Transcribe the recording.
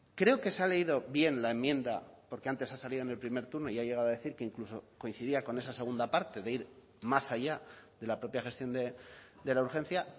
creo que se ha leído bien la enmienda porque antes ha salido en el primer turno y ha llegado a decir que incluso coincidía con esa segunda parte de ir más allá de la propia gestión de la urgencia